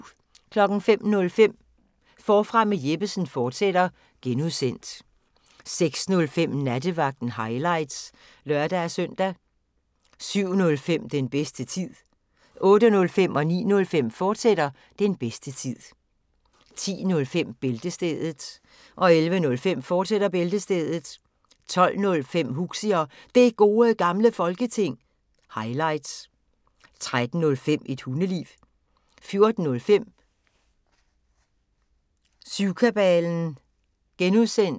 05:05: Forfra med Jeppesen fortsat (G) 06:05: Nattevagten – highlights (lør-søn) 07:05: Den bedste tid 08:05: Den bedste tid, fortsat 09:05: Den bedste tid, fortsat 10:05: Bæltestedet 11:05: Bæltestedet, fortsat 12:05: Huxi og Det Gode Gamle Folketing – highlights 13:05: Et Hundeliv 14:05: Syvkabalen (G)